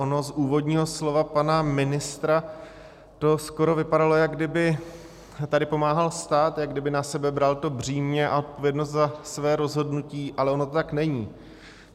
Ono z úvodního slova pana ministra to skoro vypadalo, jako kdyby tady pomáhal stát, jako kdyby na sebe bral to břímě a odpovědnost za své rozhodnutí, ale ono to tak není.